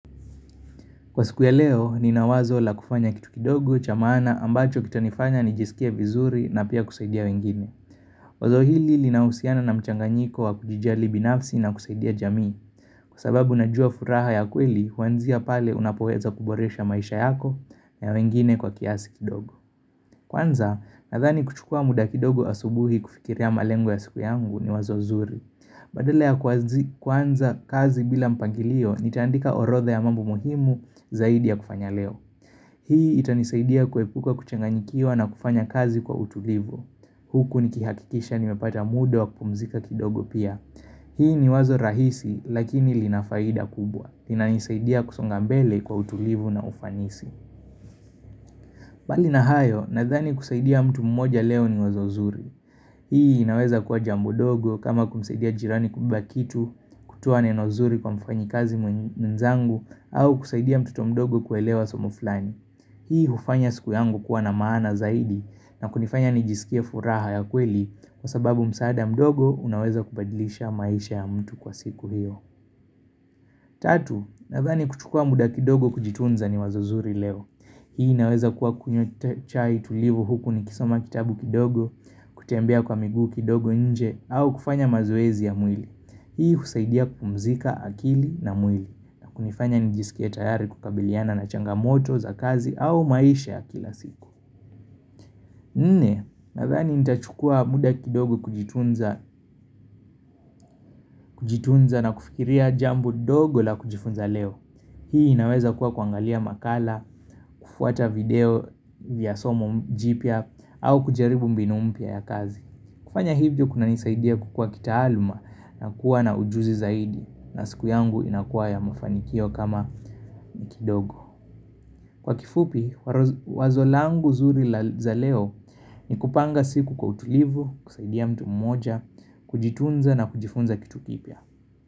Kwa siku ya leo, nina wazo la kufanya kitu kidogo cha maana ambacho kitanifanya nijisikie vizuri na pia kusaidia wengine. Wazo hili linahusiana na mchanganyiko wa kujijali binafsi na kusaidia jamii. Kwa sababu najua furaha ya kweli, huanzia pale unapoweza kuboresha maisha yako ya wengine kwa kiasi kidogo. Kwanza, nadhani kuchukua muda kidogo asubuhi kufikiria malengo ya siku yangu ni wazo nzuri. Badala ya kuanzi kuanza kazi bila mpangilio, nitaandika orotha ya mambo muhimu zaidi ya kufanya leo. Hii itanisaidia kuepuka kuchaganyikiwa na kufanya kazi kwa utulivu. Huku nikihakikisha nimepata muda wa kupumzika kidogo pia. Hii ni wazo rahisi lakini lina faida kubwa. Linanisaidia kusonga mbele kwa utulivu na ufanisi. Bali na hayo, nadhani kusaidia mtu mmoja leo ni wazo nzuri. Hii inaweza kuwa jambo ndogo kama kumsaidia jirani kubeba kitu kutoa neno nzuri kwa mfanyikazi mwenzangu au kusaidia mtoto mdogo kuelewa somo fulani. Hii hufanya siku yangu kuwa na maana zaidi na kunifanya nijisikie furaha ya kweli kwa sababu msaada mdogo unaweza kubadilisha maisha ya mtu kwa siku hiyo. Tatu, nadhani kuchukua muda kidogo kujitunza ni wazo zuri leo. Hii naweza kuwa kunywa chai tulivu huku ni kisoma kitabu kidogo, kutembea kwa miguu kidogo nje au kufanya mazoezi ya mwili. Hii husaidia kupumzika akili na mwili na kunifanya nijisikie tayari kukabiliana na changamoto za kazi au maisha ya kila siku. Nne, nadhani nitachukua mda kidogo kujitunza kujitunza na kufikiria jambo dogo la kujifunza leo. Hii inaweza kuwa kuangalia makala, kufuata video vya somo jipya au kujaribu mbinu mpya ya kazi. Kufanya hivyo kuna nisaidia kukua kitaaluma na kuwa na ujuzi zaidi na siku yangu inakuwa ya mafanikio kama kidogo. Kwa kifupi, wazo langu zuri la za leo ni kupanga siku kwa utulivu, kusaidia mtu mmoja, kujitunza na kujifunza kitu kipya.